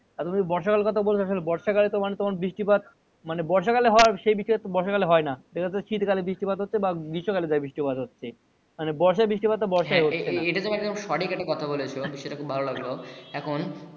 আর যদি বর্ষা কালের কথা বলেন বর্ষা কালে তো বৃষ্টি পাত মানে বর্ষা কালে হয় সেই বৃষ্টি আর বর্ষা কালে হয়না দেখা যাই শীত কালে বৃষ্টি পাত হচ্ছে গ্রীষ্ম কালে বৃষ্টি পাত হচ্ছে বর্ষার বৃষ্টি পাত বর্ষায় হচ্ছে না হ্যা এটা তুমি একদম সঠিক কথা বলছো বিষয়টা খুব ভালো লাগলো এখন